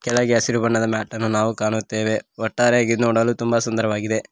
ಕೆಳಗೆ ಹಸಿರು ಬಣ್ಣದ ಮ್ಯಾಟ್ ಅನ್ನು ಕಾಣುತ್ತೇವೆ ಒಟ್ಟಾರೆಯಾಗಿ ಇದ ನೋಡಲು ತುಂಬಾ ಸುಂದರವಾಗಿದೆ.